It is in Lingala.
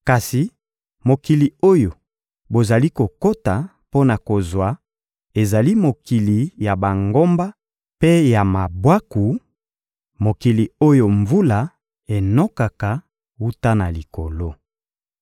Kasi mokili oyo bozali kokota mpo na kozwa ezali mokili ya bangomba mpe ya mabwaku, mokili oyo mvula enokaka wuta na likolo.